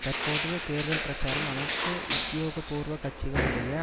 தற்போதைய தேர்தல் பிரச்சாரம் அனைத்து உத்தியோக பூர்வ கட்சிகளுடைய